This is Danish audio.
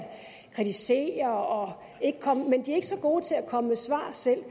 kritisere men de er ikke så gode til at komme med svar selv